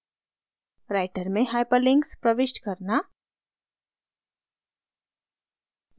writer में hyperlinks प्रविष्ट करना